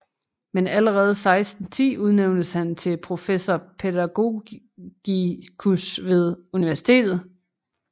Men allerede 1610 udnævntes han til professor pædagogicus ved universitetet